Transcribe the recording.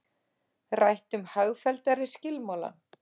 Rætt um hagfelldari skilmála